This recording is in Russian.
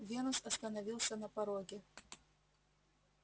венус остановился на пороге